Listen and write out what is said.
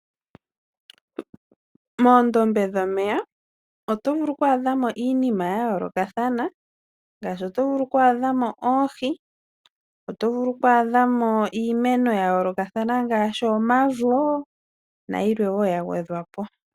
Momadhiya gomeya otovulu oku adhamo iinima ya Ya yoolokathana ,Ngaashi otovulu oku adhamo ngaashi oohi, otovulu oku adhamo iimeno ya yoolokathana ngaashi omavo nayilwe woo ya gwedhwapo.